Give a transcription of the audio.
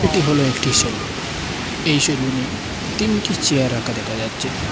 এটি হল একটি সেলুন এই সেলুনে তিনটি চেয়ার রাখা দেকা যাচ্ছে।